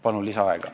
Palun lisaaega!